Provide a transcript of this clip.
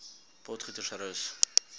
potgietersrus